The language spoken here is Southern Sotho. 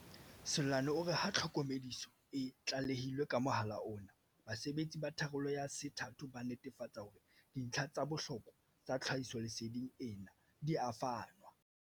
Seloane o re ha tlhokomediso e tlalehilwe ka mohala ona, basebetsi ba tharollo ya se thato ba netefatsa hore dintlha tsa bohlokwa tsa tlhahisolese ding ena di a fanwa.